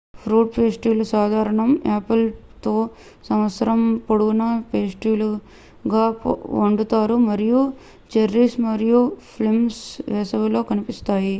fruit పేస్ట్రీలు సాధారణం apples తో సంవత్సరం పొడవునా పేస్ట్రీలుగా వండుతారు మరియు చెర్రీస్ మరియు ప్లమ్స్ వేసవిలో కనిపిస్తాయి